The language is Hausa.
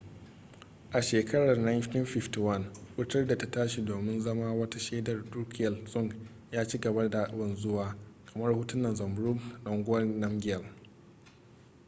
a shekarar 1951 wutar da ta tashi domin zama wata shaidar drukgyal dzong ya ci gaba da wanzuwa kamar hotunan zhabdrung ngawang namgyal